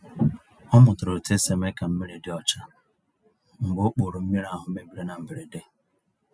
Ọ mụtara otu esi eme ka mmiri dị ọcha mgbe okpòrò mmiri ahụ mebiri na mberede.